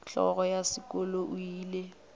hlogo ya sekolo o ile